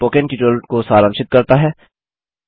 यह spoken tutorial को सारांशित करता है